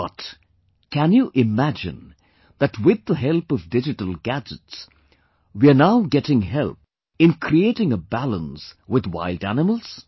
But can you imagine that with the help of digital gadgets, we are now getting help in creating a balance with wild animals